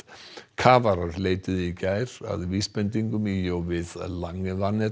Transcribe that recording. kafarar leituðu í gær að vísbendingum í og við